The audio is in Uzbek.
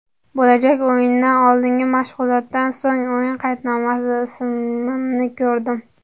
Bo‘lajak o‘yindan oldingi mashg‘ulotdan so‘ng o‘yin qaydnomasida ismimni ko‘rdim.